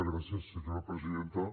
gràcies senyora presidenta